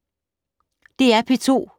DR P2